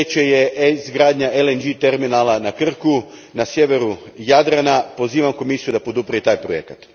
Treće izgradnja NLG terminala na Krku, na sjeveru Jadrana. Pozivam Komisiju da podrži i taj projekt.